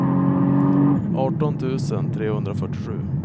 arton tusen trehundrafyrtiosju